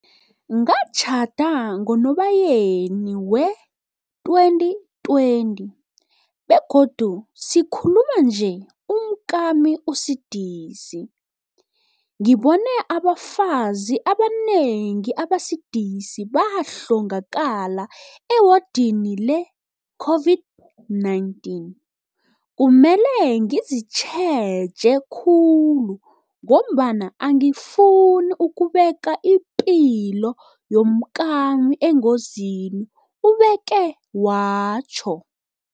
Ngatjhada ngoNobayeni wee-2020 begodu sikhu luma nje umkami usidisi. Ngibone abafazi abanengi abasidisi bahlongakala ewodini le-COVID-19. Kumele ngizi tjheje khulu ngombana angifuni ukubeka ipilo yomkami engozini, ubeke watjho.